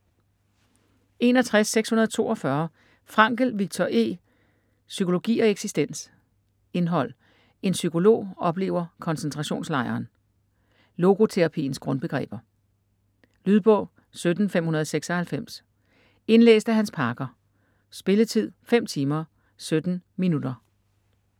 61.642 Frankl, Viktor E.: Psykologi og eksistens Indhold: En psykolog oplever koncentrationslejren; Logoterapiens grundbegreber. Lydbog 17596 Indlæst af Hans Parker. Spilletid: 5 timer, 17 minutter.